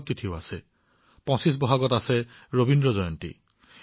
এটা গুৰুত্বপূৰ্ণ দিন হৈছে পোচিচে বৈশাকঠাকুৰৰ জন্ম জয়ন্তী